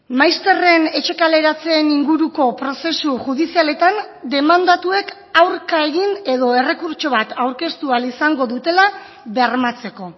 maizterren etxe kaleratzeen inguruko prozesu judizialetan demandatuek aurka egin edo errekurtso bat aurkeztu ahal izango dutela bermatzeko